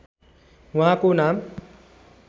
उहाँको नाम